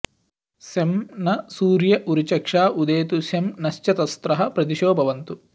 शं नः सूर्य उरुचक्षा उदेतु शं नश्चतस्रः प्रदिशो भवन्तु